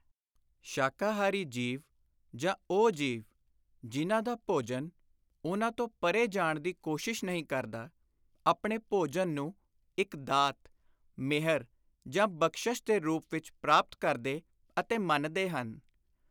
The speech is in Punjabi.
ਸ਼ਾਕਾਹਾਰੀ ਜੀਵ ਜਾਂ ਉਹ ਜੀਵ ਜਿਨ੍ਹਾਂ ਦਾ ਭੋਜਨ ਉਨ੍ਹਾਂ ਤੋਂ ਪਰੇ ਜਾਣ ਦੀ ਕੋਸ਼ਿਸ਼ ਨਹੀਂ ਕਰਦਾ ਆਪਣੇ ਭੋਜਨ ਨੂੰ ਇਕ ਦਾਤ, ਮਿਹਰ ਜਾਂ ਬਖ਼ਸ਼ਸ਼ ਦੇ ਰੂਪ ਵਿਚ ਪ੍ਰਾਪਤ ਕਰਦੇ ਅਤੇ ਮੰਨਦੇ ਹਨ।